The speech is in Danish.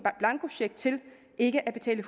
blankocheck til ikke at betale